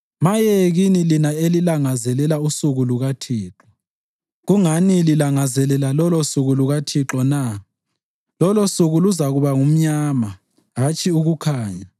Maye kini lina elilangazelela usuku lukaThixo! Kungani lilangazelela lolosuku lukaThixo na? Lolosuku luzakuba ngumnyama, hatshi ukukhanya.